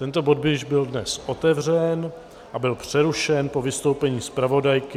Tento bod byl již dnes otevřen a byl přerušen po vystoupení zpravodajky.